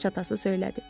Xaç atası söylədi.